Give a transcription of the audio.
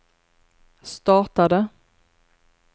startade